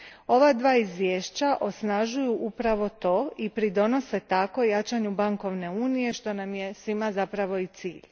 Ova dva izvješća osnažuju upravo to i pridonose tako jačanju bankovne unije, što nam je svima zapravo i cilj.